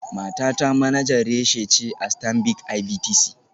Matata manajan reshe ce a Stanbic IBTC.